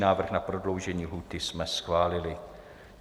Návrh na prodloužení lhůty jsme schválili.